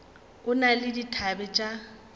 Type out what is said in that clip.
o na le dithabe tša